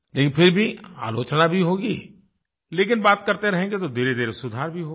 लेकिन फिर भी आलोचना भी होगी लेकिन बात करते रहेंगे तो धीरेधीरे सुधार भी होगा